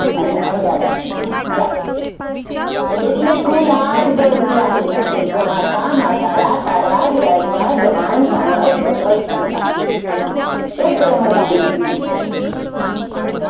અને ઐયા લખશું ગ, એટલે કુલ આઠ ગણ છે આપડી પાસે, યામતા, માત્તારા, તારા, રાજભા, જમણ, ભાનાર, નર્સન, ખાલિદા, એક રમત આપડી પૂરી થય.